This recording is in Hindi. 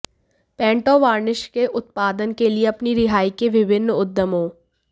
पेंट और वार्निश के उत्पादन के लिए अपनी रिहाई के विभिन्न उद्यमों